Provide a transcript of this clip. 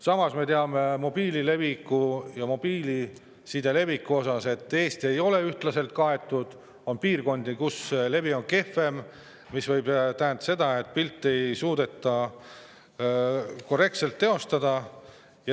Samas me teame, et mobiilside levi ei ole Eestis ühtlane, on piirkondi, kus levi on kehvem, mis võib tähendada, et pilti ei suudeta korrektselt teostada.